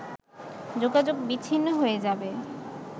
যোগাযোগ বিচ্ছিন্ন হয়ে যাবে